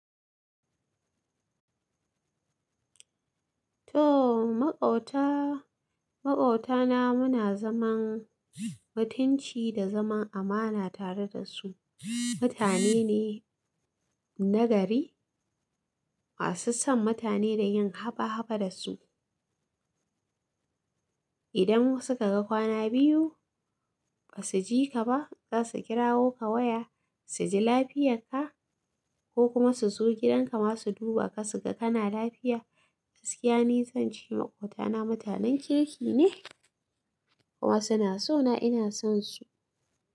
To, maƙota, maƙotana muna zaman mutunci da zaman amana tare da su. Mutane ne na gari, masu son mutane da yin haɓa haɓa da su. Idan suka ga kwana biyu ba su ji ka ba, za su kirawo ka waya su ji lafiyar ka ko kuma su zo gidanka ma su duba ka su ga kana lafiya. Gaskiya nizan ce maƙotana mutanen kirki ne kuma suna so na ina son su.